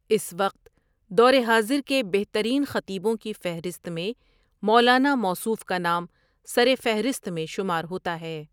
اس وقت دور حاضر کےبہترین خطیبوں کی فہرست میں مولانا موصوف کا نام سر فہرست میں شومار ہوتا ہے ۔